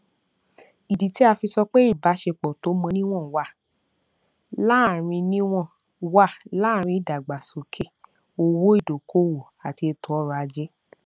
ìdí tí a fi sọ pé ìbáṣepọ tó mọ níwọn wà láàrin níwọn wà láàrin ìdàgbàsókè owó ìdókòówò àti ètòọrọajé